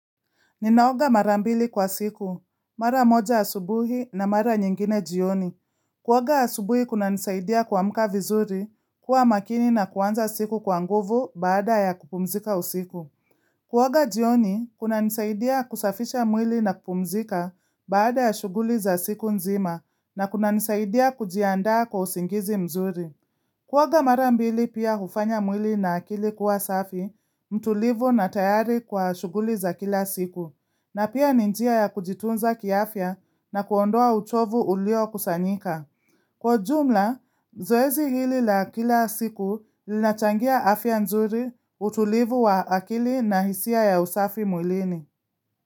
Ninaoga marambili kwa siku, mara moja asubuhi na mara nyingine jioni. Kuoga asubuhi kuna nisaidia kuamuka vizuri, kuwa makini na kuanza siku kwa nguvu baada ya kupumzika usiku. Kuoga jioni, kuna nisaidia kusafisha mwili na kupumzika baada ya shuguli za siku nzima na kuna nisaidia kujiandaa kwa usingizi mzuri. Kuoga marambili pia hufanya mwili na akili kuwa safi, mtulivu na tayari kwa shuguli za kila siku. Na pia ni njia ya kujitunza kiafya na kuondoa uchovu ulio kusanyika. Kwa jumla, zoezi hili la kila siku linachangia afya nzuri utulivu wa akili na hisia ya usafi mwilini.